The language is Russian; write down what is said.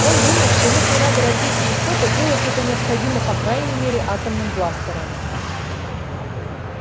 он думает что если надо разбить яйцо то делать это необходимо по крайней мере атомным бластером